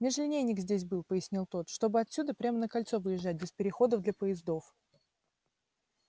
межлинейник здесь был пояснил тот чтобы отсюда прямо на кольцо выезжать без переходов для поездов